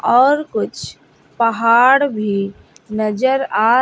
और कुछ पहाड़ भी नजर आ--